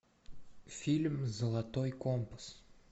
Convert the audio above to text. фильм золотой компас